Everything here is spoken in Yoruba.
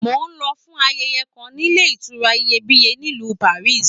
Mo lọ fún ayẹyẹ kàn níle ìtura Iyebiye nílu Paris.